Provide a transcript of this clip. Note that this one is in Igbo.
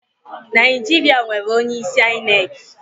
Naijiṛa nwere onye isi ainek